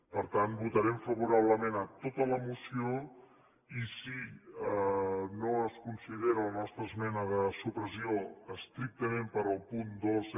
per tant votarem favorablement a tota la moció i si no es considera la nostra esmena de supressió estrictament per al punt dos